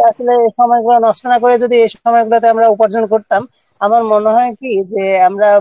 তারপর এখানে পড়াশোনা করে যদি এই সম পরিমাণ আমরা উপার্জন করতাম আমার মনে হয় কী যে আমরা